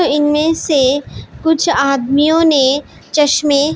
इनमें से कुछ आदमियों ने चश्मे--